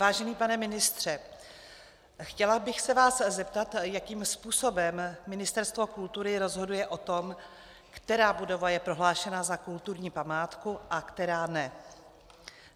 Vážený pane ministře, chtěla bych se vás zeptat, jakým způsobem Ministerstvo kultury rozhoduje o tom, která budova je prohlášena za kulturní památku a která ne.